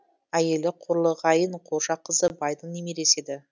әйелі қорлығайын қожақызы байдың немересі еді